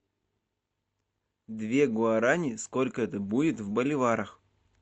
две гуарани сколько это будет в боливарах